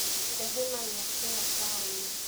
Rehema nĩakinya taũni.